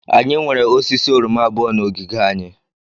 Anyị nwere osisi oroma abụọ na ogige anyị.